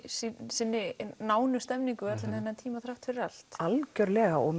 sinni sinni nánu stemningu allan þennan tíma þrátt fyrir allt algjörlega og